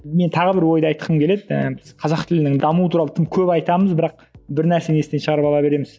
мен тағы бір ойды айтқым келеді ііі біз қазақ тілінің дамуы туралы тым көп айтамыз бірақ бір нәрсені естен шығарып ала береміз